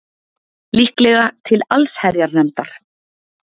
Líklega til allsherjarnefndar